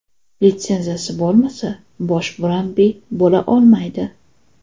Litsenziyasi bo‘lmasa, bosh murabbiy bo‘la olmaydi.